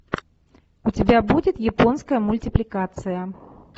у тебя будет японская мультипликация